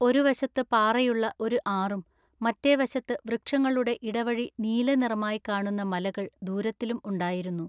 ഒരു വശത്തു പാറയുള്ള ഒരു ആറും മറ്റെ വശത്തു വൃക്ഷങ്ങളുടെ ഇടവഴി നീല നിറമായി കാണുന്ന മലകൾ ദൂരത്തിലും ഉണ്ടായിരുന്നു.